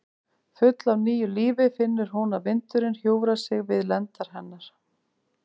Full af nýju lífi finnur hún að vindurinn hjúfrar sig við lendar hennar.